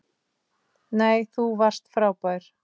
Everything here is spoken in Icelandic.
Nei, þú varst frábær!